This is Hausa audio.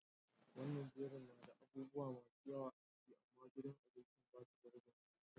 Wanan jerin na da abubuwa masun yawa a ciki, amma gidan abincin ba su da rebin abincin.